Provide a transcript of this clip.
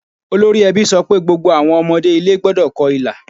Olórí ẹbí sọ pé gbogbo àwọn ọmọdé ilé gbọ́dọ̀ kọ ilà.